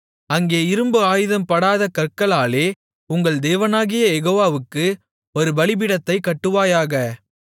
அங்கே இரும்பு ஆயுதம்படாத கற்களாலே உங்கள் தேவனாகிய யெகோவாவுக்கு ஒரு பலிபீடத்தைக் கட்டுவாயாக